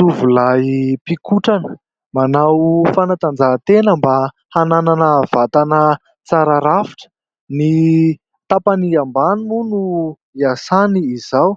Tovolahy mpikotrana, manao fanatanjahantena mba hananana vatana tsara rafitra. Ny tapany ambany moa no hiasany izao